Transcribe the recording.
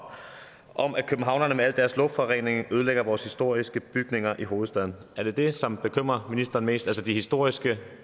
om at københavnerne med al deres luftforurening ødelægger vores historiske bygninger i hovedstaden er det det som bekymrer ministeren mest altså de historiske